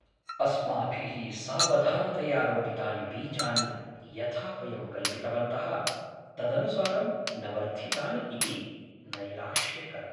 अस्माभिः सावधानतया रोपितानि बीजानि यथा वयं कल्पितवन्तः तदनुसारं न वर्धितानि इति नैराश्यकरम्।